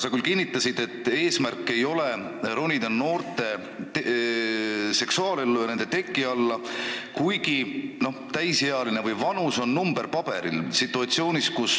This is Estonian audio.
Sa küll kinnitasid, et eesmärk ei ole sekkuda noorte seksuaalellu ja ronida nende teki alla, ent inimese vanus on mõnes mõttes vaid number paberil.